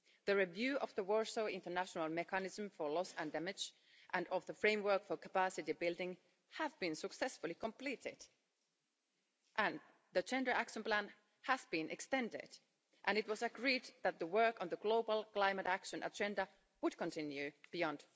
The review of the Warsaw International Mechanism for Loss and Damage and of the framework for capacity building have been successfully completed, and the Gender Action Plan has been extended. And it was agreed that the work on the global climate action agenda would continue beyond